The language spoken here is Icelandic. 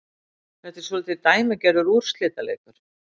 Þetta var svolítið dæmigerður úrslitaleikur